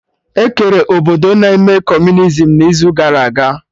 Ekere obodo na-eme Kọmunizim n'izu gara aga